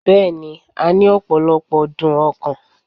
Bẹ́ẹ̀ni, a ní opolopo dun okan